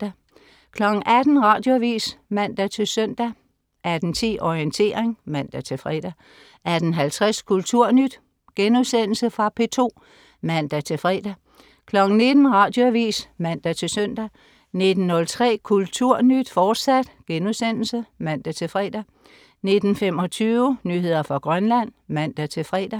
18.00 Radioavis (man-søn) 18.10 Orientering (man-fre) 18.50 Kulturnyt.* Fra P2 (man-fre) 19.00 Radioavis (man-søn) 19.03 Kulturnyt, fortsat* (man-fre) 19.25 Nyheder fra Grønland (man-fre)